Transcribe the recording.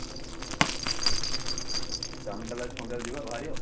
ଠିକ ଅଛି ଆଜି ସନ୍ଧ୍ୟାବେଳେ ଯିବା ବାହାରିବା ଆଉ